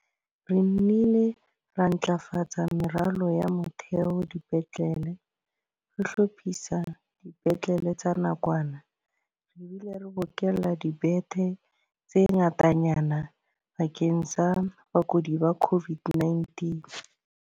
Re nnile ra ntlafatsa meralo ya motheo dipetlele, re hlophisa dipetlele tsa nakwana re bile re bokella dibethe tse ngatanyana bakeng sa bakudi ba COVID-19.